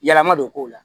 Yɛlɛma don k'o la